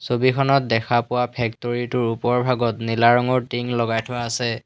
ছবিখনত দেখা পোৱা ফেক্তৰি টোৰ ওপৰ ভাগত নীলা ৰঙৰ টিং লগাই থোৱা আছে।